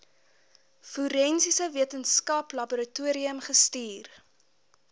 forensiese wetenskaplaboratorium gestuur